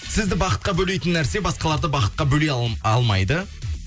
сізді бақытқа бөлейтін нәрсе басқаларды бақытқа бөлей алмайды